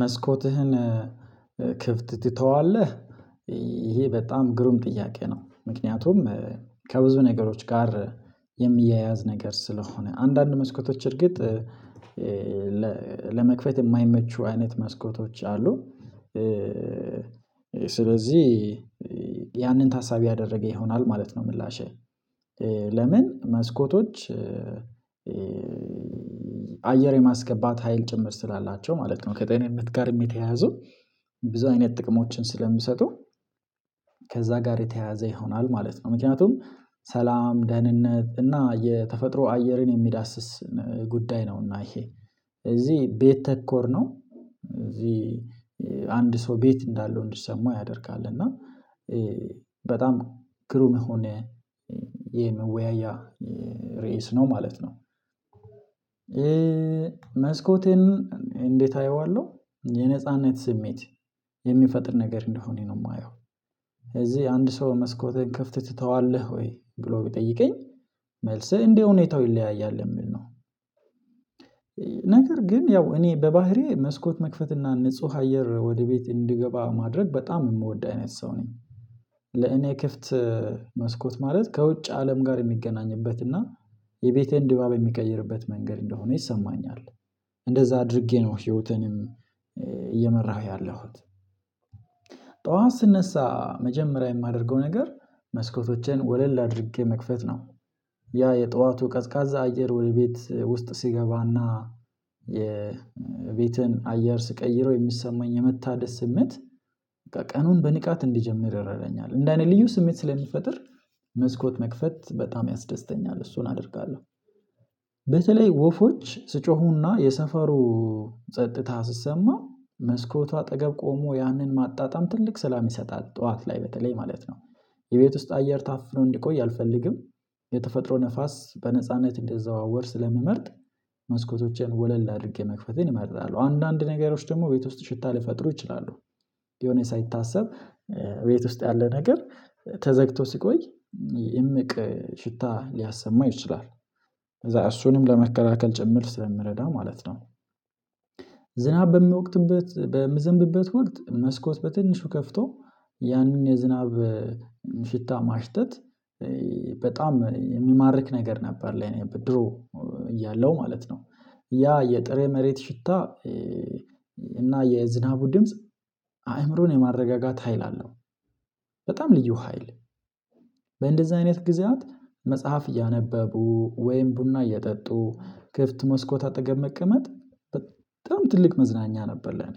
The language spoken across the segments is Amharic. መስኮትህን ክፍት ትተዋለህ? ይሄ በጣም ግሩም ጥያቄ ነው ምክንያቱም ከብዙ ነገሮች ጋር የሚያያዝ ነገር ስለሆነ አንዳንድ መስኮቶች እርግጥ ለመክፈት የማይመቹ አይነት መስኮቶች አሉ ስለዚህ ያንን ታሳቢ ያደረገ ይሆናል ማለት ነው። ምላሼ ለምን መስኮቶች አየር የማስገባት ሀይል ጭምር ስላላቸው ማለት ነው። ከጤንነትም ጋርም የተያያዘው ብዙ አይነት ጥቅሞችን ስለሚሰጡ ከዛ ጋር የተያያዘ ይሆናል ማለት ነው። ምክንያቱም ሰላም ደህንነት እና የተፈጥሮ አየርን የሚዳስስ ጉዳይ ነውና ይሄ እዚህ ቤት ተኮር ነው እና እዚህ አንድ ሰው ቤት እንዳለው እንዲሰማው ያደርጋል። እና በጣም ግሩም የሆነ የመወያያ ርዕስ ነው ማለት ነው። መስኮቴን እንዴት አየዋለሁ የነጻነት ስሜት የሚፈጥር ነገር እንደሆነ ነው የማየው እዚህ አንድ ሰው መስኮትህን ከፍተህ ትተዋለህ ወይ ብሎ ቢጠይቀኝ መልስህ እንደ ሁኔታው ይለያያል የሚል ነው። ነገር ግን ያው እኔ በባህሪዬ መስኮት መክፈትና ንጹህ አየር ወደ ቤት እንድገባ ማድረግ በጣም የምወድ አይነት ሰው ነኝ። ለኔ ክፍት መስኮት ማለት ከውጭ አለም ጋር የሚገናኝበት እና የቤቴን ድባብ የሚቀይርበት መንገድ እንደሆነ ይሰማኛል። እንደዛ አድርጌ ነው ህይወትንም እየመራሁ ያለሁት ጠዋት ስነሳ መጀመሪያ የማደርገው ነገር መስኮቶችን ወለል አድርጌ መክፈት ነው። ያ የጠዋቱ ቀዝቃዛ አየር ወደ ቤት ውስጥ ሲገባ እና የቤትን አያር ስቀይሮ የሚሰማኝ የመታደስነት ስሜት በቃ ቀኑን በንቃት እንዲጀምር ይረዳኛል። እንደኔ ልዩ ስሜት ስለሚፈጥር መስኮት መክፈት በጣም ያስደስተኛል እሱን አደርጋለሁ። በተለይ ወፎች ስጮሁ እና የሰፈሩ ጸጥታ ሲሰማ መስኮቷ አጠገብ ቆሞ ያንን ማጣጣም ትልቅ ሰላም ይሰጣል ጠዋት ላይ በተለይ ማለት ነው። የቤት ውስጥ አየር ታፍኖ እንዲቆይ አልፈልግም የተፈጥሮ ንፋስ በነጻነት እንደዛው ወር ስለሚመርጥ መስኮቶችን ወለል አድርጌ መክፈቴን እመርጣለሁ። አንዳንድ ነገሮች ደግሞ ቤት ውስጥ ሽታ ሊፈጥሩ ይችላሉ ሊሆን ሳይታሰብ ቤት ውስጥ ያለ ነገር ተዘግቶ ስቆይ እምቅ ሽታ ሊያሰማ ይችላል ከዛ እሱንም ለመከላከል ጭምር ስለምረዳ ማለት ነው። ዝናብ በሚወቅትበት በሚዘንብበት ወቅት መስኮት በትንሹ ከፍቶ ያንን የዝናብ ሽታ ማሽተት በጣም የሚማርክ ነገር ነበር ለኔ። በድሮ እያለው ማለት ነው ያ የጥሬ መሬት ሽታ እና የዝናቡ ድምጽ አእምሮን የማረጋጋት ሀይል አለው። በጣም ልዩ ሀይል በእንደዚህ አይነት ጊዜያት መጽሐፍ እያነበቡ ወይም ቡና እየጠጡ ክፍት መስኮት አጠገብ መቀመጥ በጣም ትልቅ መዝናኛ ነበር። ለኔ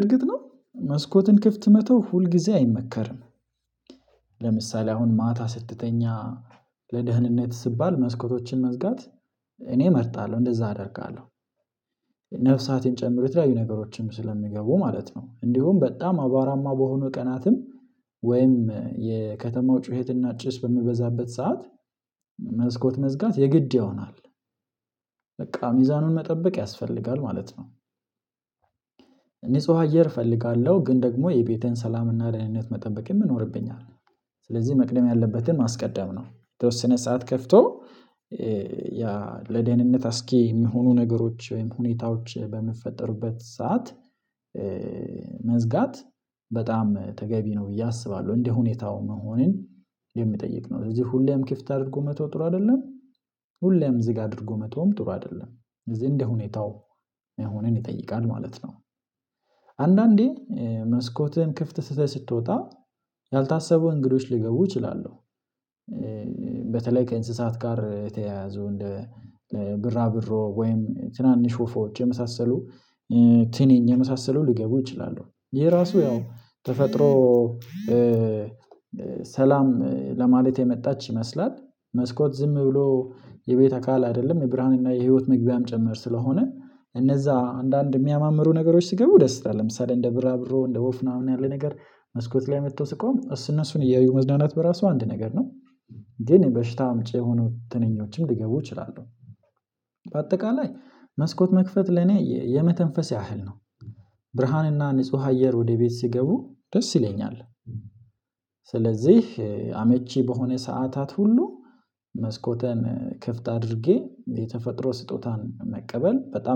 እርግጥ ነው መስኮትን ክፍት መተው ሁልጊዜ አይመከርም። ለምሳሌ አሁን ማታ ስትተኛ ለደህንነት ስባል መስኮቶችን መዝጋት እኔ እመርጣለሁ እንደዛ አደርጋለሁ። ነፍሳትን ጨምሮ የተለያዩ ነገሮችን ስለሚገቡ ማለት ነው እንዲሁም በጣም አቧራማ በሆኑ ቀናትም ወይም የከተማው ጩኸትና ጭስ በሚበዛበት ሰዓት መስኮት መዝጋት የግድ ይሆናል። በቃ ሚዛኑን መጠበቅ ያስፈልጋል ማለት ነው። ንጹህ አየር እፈልጋለሁ ግን ደግሞ የቤቴን ሰላም እና ደህንነት መጠበቅ ይኖርብኛል። ስለዚህ መቅደም ያለበትን ማስቀደም ነው የተወሰነ ሰዓት ከፍቶ ለደህንነት አስጊ የሚሆኑ ነገሮች ወይም ሁኔታዎች በሚፈጥሩበት ሰዓት መዝጋት በጣም ተገቢ ነው ብዬ አስባለሁ እንደ ሁኔታው መሆንን የሚጠይቅ ነው ለዚህ ሁሌም ክፍት አድርጎ መተው ጥሩ አይደለም። ሁሌም ዝግ አድርጎ መተውም ጥሩ አይደለም። ስለዚህ እንደ ሁኔታው መሆነን ይጠይቃል ማለት ነው። አንዳንዴ መስኮትን ክፍት ትተህ ስትወጣ ያልታሰቡ እንግዶች ሊገቡ ይችላሉ። በተለይ ከእንስሳት ጋር የተያያዘው እንደ ብራ ብሮ ወይም ትናንሽ ወፎች የመሳሰሉ ትንኝ የመሳሰለው ሊገቡ ይችላሉ። ይሄ ራሱ ያው ተፈጥሮ ሰላም ለማለት የመጣች ይመስላል። መስኮት ዝም ብሎ የቤተ አካል አይደለም የብርሃን እና የህይወት መግቢያም ጭምር ስለሆነ እነዛ አንዳንድ የሚያማምሩ ነገሮች ሲገቡ ደስ ይላል ለምሳሌ እንደ ቢራቢሮ እንደ ወፍ ምናምን ያለ ነገር መስኮት ላይ መጥቶ ሲቆም እሱን እነሱን እያዩ መዝናናት በራሱ አንድ ነገር ነው። ግን በሽታ አምጪ የሆኑ ትንኞችም ሊገቡ ይችላሉ። በአጠቃላይ መስኮት መክፈት ለኔ የመተንፈስ ያህል ነው። ብርሃንና ንጹህ አየር ወደ ቤት ሲገቡ ደስ ይለኛል። ስለዚህ አመቺ በሆነ ሰዓታት ሁሉ መስኮቴን ክፍት አድርጌ የተፈጥሮ ስጦታን መቀበል በጣም